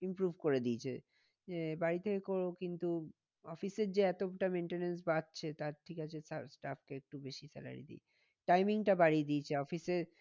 Improve করে দিয়েছে এ বাড়িতে কিন্তু office এর যে এতটা maintenance বাঁচছে তার থেকে staff কে একটু বেশি salary দিই। timing টা বাড়িয়ে দিয়েছে office এ